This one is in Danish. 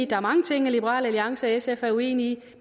der er mange ting liberal alliance og sf er uenige